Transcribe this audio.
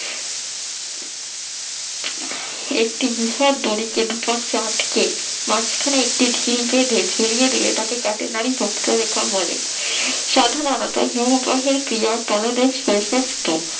একটি বিশাল দড়িকে রুপার সাহায্যে মাঝখানে একটি ঢিল বেঁধে ঝুলিয়ে দিয়ে তাকে নারী তত্ব রেখা বলে সাধুবাবা তার হিমবাহের ক্রিয়া পাদদেশ প্রশস্ত